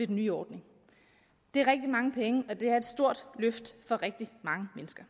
den nye ordning det er rigtig mange penge og det er et stort løft for rigtig mange mennesker